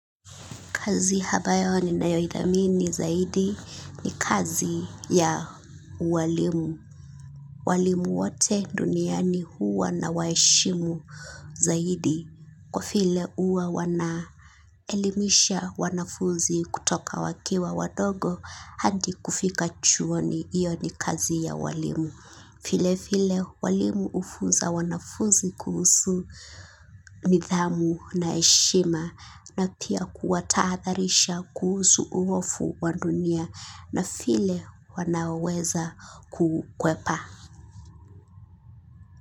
Kazi ambayo ninayoithamini zaidi ni kazi ya ualimu. Walimu wote duniani huwa nawaheshimu zaidi. Kwa vile huwa wanaelimisha wanafuzi kutoka wakiwa wadogo hadi kufika chuoni iyo ni kazi ya walimu. Vile vile walimu hufuza wanafunzi kuhusu nidhamu na heshima na pia kuwa tahadharisha kuhusu uofu wa dunia na vile wanaweza kukwepa.